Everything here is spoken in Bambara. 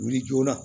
Wuli joona